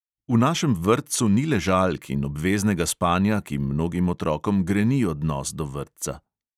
V našem vrtcu ni ležalk in obveznega spanja, ki mnogim otrokom greni odnos do vrtca.